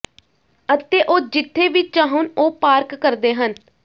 ਅਤੇ ਉਹ ਜਿੱਥੇ ਵੀ ਚਾਹੁਣ ਉਹ ਪਾਰਕ ਕਰਦੇ ਹਨ